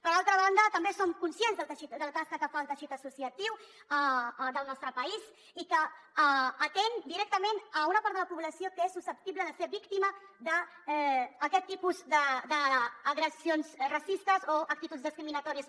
per altra banda també som conscients de la tasca que fa el teixit associatiu del nostre país i que atén directament una part de la població que és susceptible de ser víctima d’aquest tipus d’agressions racistes o actituds discriminatòries